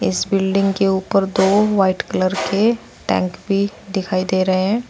इस बिल्डिंग के उपर दो व्हाइट कलर के टैंक भी दिखाई दे रहे हैं।